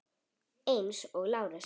Eins og Lárus.